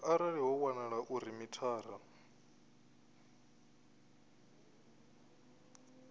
arali ho wanala uri mithara